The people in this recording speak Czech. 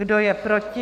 Kdo je proti?